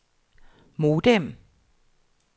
modem